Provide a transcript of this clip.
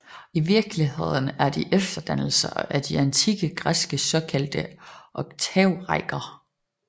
I virkeligheden er de efterdannelser efter de antikke græske såkaldte oktavrækker